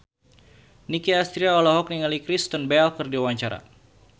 Nicky Astria olohok ningali Kristen Bell keur diwawancara